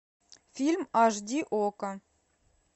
фильм аш ди окко